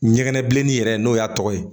Ɲɛgɛnɛbilennin yɛrɛ n'o y'a tɔgɔ ye